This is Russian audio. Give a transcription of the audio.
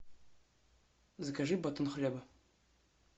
закажи батон хлеба